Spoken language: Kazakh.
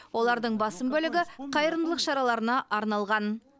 олардың басым бөлігі қайырымдылық шараларына арналған